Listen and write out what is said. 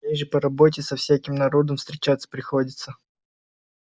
мне же по работе со всяким народом встречаться приходится